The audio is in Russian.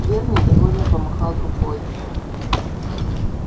твер недовольно помахал рукой